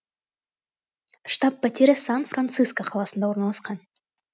штаб пәтері сан франциско қаласында орналасқан